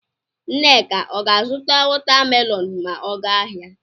Nneka ọ ga-azụta watamelonụ ma ọ ga ahịa?